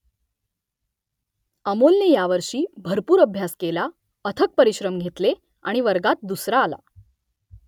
अमोलने यावर्षी भरपूर अभ्यास केला अथक परिश्रम घेतले आणि वर्गात दुसरा आला